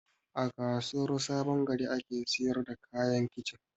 A kasuwar sabongari ake siyar da kayan kicin